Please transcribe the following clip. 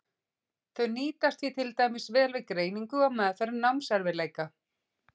Þau nýtast því til dæmis vel við greiningu og meðferð námserfiðleika.